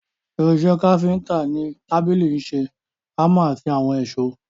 Irin ìṣe káfíntà ni tábìlì ìṣe, hámà àti àwọn èsó.